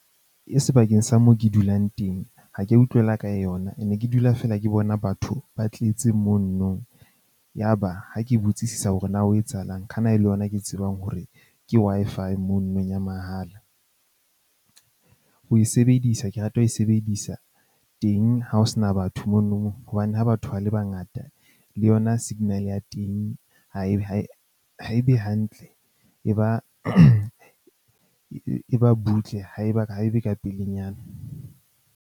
E sebakeng sa moo ke dulang teng, ha ka utlwela ka yona. Ke ne ke dula feela ke bona batho ba tletse monno. Ya ba ha ke botsisisa hore na ho etsahalang kana e le yona ke tsebang hore ke Wi-Fi mononong ya mahala. Ho e sebedisa ke rata ho sebedisa teng ha ho sena batho mono hobane ha batho ba le bangata le yona signal ya teng, ha e be ha e ha e be hantle e ba e ba butle, ha e ba ha e be ka pelenyana.